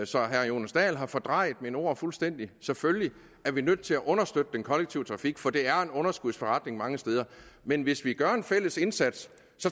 så herre jonas dahl har fordrejet mine ord fuldstændig selvfølgelig er vi nødt til understøtte den kollektive trafik for det er en underskudsforretning mange steder men hvis vi gør en fælles indsats